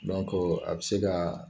a bɛ se ka